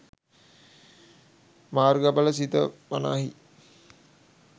මාර්ගඵල සිත වනාහී